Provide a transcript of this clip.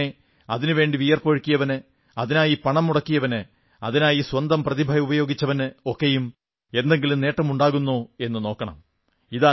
അതിൽത്തന്നെ അതിനുവേണ്ടി വിയർപ്പൊഴുക്കിയവന് അതിനായി പണം മുടക്കിയവന് അതിനായി സ്വന്തം പ്രതിഭ ഉപയോഗിച്ചവന് ഒക്കെയും എന്തെങ്കിലും നേട്ടമുണ്ടാകുന്നോ എന്നു നോക്കണം